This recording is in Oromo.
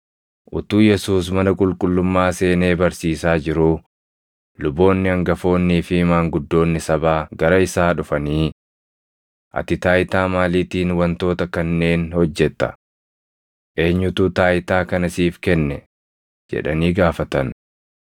Utuu Yesuus mana qulqullummaa seenee barsiisaa jiruu luboonni hangafoonnii fi maanguddoonni sabaa gara isaa dhufanii, “Ati taayitaa maaliitiin wantoota kanneen hojjetta? Eenyutu taayitaa kana siif kenne?” jedhanii gaafatan.